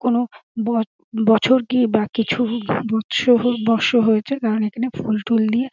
কোনো ব-বছর কি বা কিছু বৎস বৎস হয়েছে কারণ এখানে ফুল টুল দিয়ে--